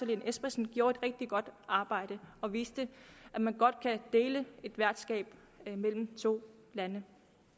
lene espersen gjorde et rigtig godt arbejde og viste at man godt kan dele et værtskab mellem to lande